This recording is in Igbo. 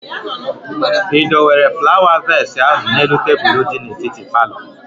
Ị dowere flawa vees ahụ n'elu tebụl di n'etiti palọ?